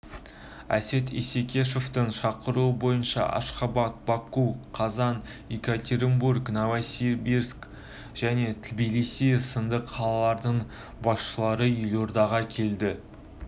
әсет исекешевтің шақыруы бойынша ашхабад баку қазан екатеринбург новосибирск және тбилиси сынды қалалардың басшылары елордаға келеді